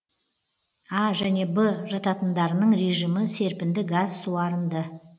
а және б жатындарының режимі серпінді газ суарынды